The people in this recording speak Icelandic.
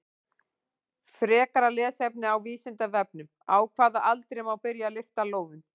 Frekara lesefni á Vísindavefnum: Á hvaða aldri má byrja að lyfta lóðum?